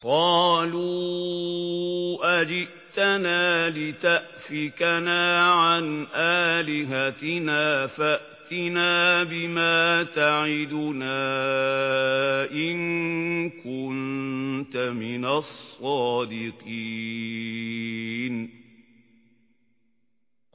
قَالُوا أَجِئْتَنَا لِتَأْفِكَنَا عَنْ آلِهَتِنَا فَأْتِنَا بِمَا تَعِدُنَا إِن كُنتَ مِنَ الصَّادِقِينَ